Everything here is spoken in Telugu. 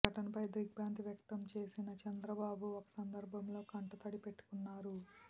ఘటనపై దిగ్భ్రాంతి వ్యక్తం చేసిన చంద్రబాబు ఒక సందర్భంలో కంటతడి పెట్టుకున్నారు